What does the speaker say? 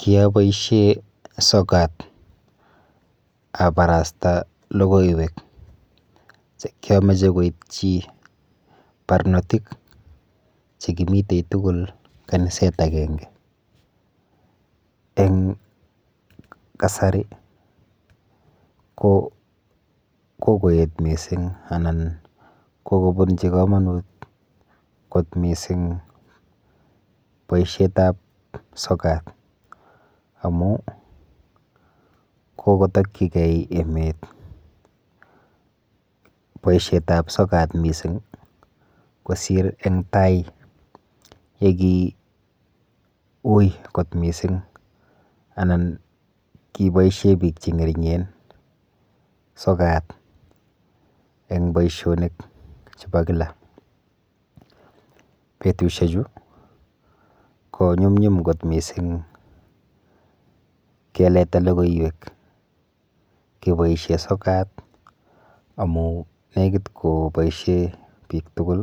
Kiaboishe sokat abarasta lokoiwek chekiamache koitchi barnotik chekimitei tugul kaniset akenge eng kasari ko kokoet mising anan kikopunchi komonut kot missing boishet ap sokat amun kokotokchikei emet boishet ap sokat missing kosir ing tai yeki ui kot missing anan kiboishe biik che ngeringen sokat eng boishonik chebo kila [c] betushek chu konyumnyum kot missing keleta lokoiwek keboishe sokat amu lekit koboisie biik tugul